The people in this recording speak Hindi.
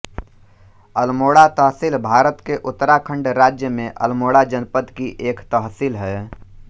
अल्मोड़ा तहसील भारत के उत्तराखण्ड राज्य में अल्मोड़ा जनपद की एक तहसील है